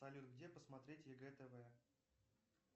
салют где посмотреть егэ тв